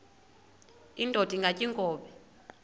indod ingaty iinkobe